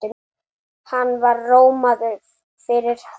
Hann var rómaður fyrir það.